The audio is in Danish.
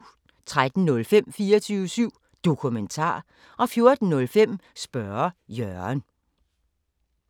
13:05: 24syv Dokumentar 14:05: Spørge Jørgen